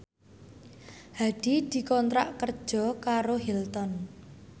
Hadi dikontrak kerja karo Hilton